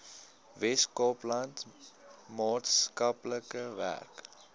weskaapland maatskaplike werk